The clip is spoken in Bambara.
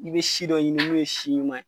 I bɛ si dɔ ɲini min ye si ɲuman ye.